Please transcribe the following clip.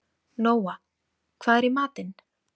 Nóa, hvað er í matinn?